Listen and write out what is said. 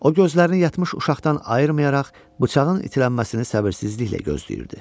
O gözlərini yatmış uşaqdan ayırmayaraq bıçağın itilənməsini səbirsizliklə gözləyirdi.